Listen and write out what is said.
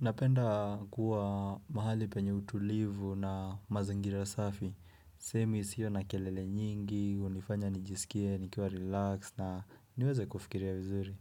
Napenda kuwa mahali penye utulivu na mazingira safi. Semi sio na kelele nyingi, hunifanya nijisikie, nikiwa relax na niweze kufikiria vizuri.